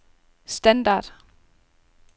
standard